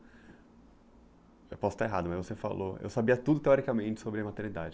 Eu posso estar errado, mas você falou... Eu sabia tudo teoricamente sobre a maternidade.